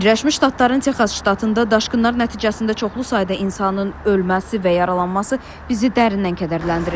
Birləşmiş Ştatların Texas ştatında daşqınlar nəticəsində çoxlu sayda insanın ölməsi və yaralanması bizi dərindən kədərləndirir.